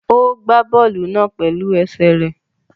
Ó gbá bọ́ọ̀lù náà pẹ̀lú ẹsẹ̀ rẹ̀